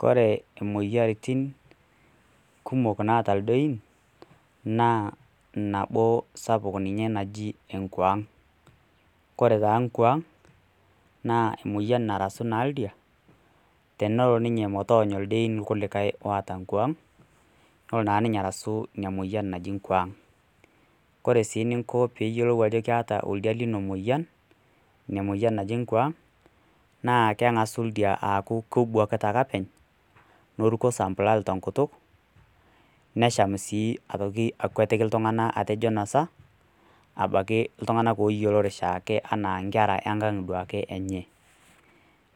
Kore imoyiaritin kumok naata ildein, naa nabo sapuk ninye naji enkwaang'. Kore taa nkwaang' naa emoyian narasu naa oldia, tenelo ninye metoonyo ilkulie diein oata nkwaang' nelo naa ninye arasu ina moyian naji nkwaang'. Kore sii ninko pee iyiolou ajo keata oldia lino nkwaang', naa keng'asu oldia aaku kebwakita ake openy, neruko sampulal te enkutuk, nesham sii aitoki akwetiki iltung'ana ajo inosa abaki iltung'ana looyiolore oshiake anaa inkera enkang' duake enye.